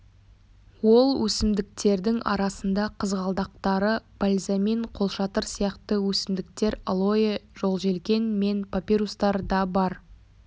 ол өсімдіктердің арасында қызғалдақтары бальзамин қолшатыр сияқты өсімдіктер алоэ жолжелкен мен папирустар да бар